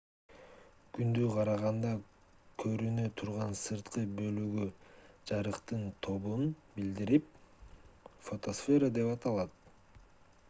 күндү караганда көрүнө турган сырткы бөлүгү жарыктын тобун билдирип фотосфера деп аталат